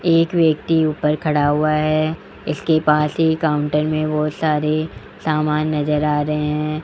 एक व्यक्ति ऊपर खड़ा हुआ है इसके पास ही काउंटर में बहोत सारे सामान नज़र आ रहे हैं।